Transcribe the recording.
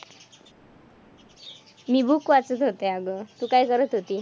मी book वाचत होते अगं. तू काय करत होती?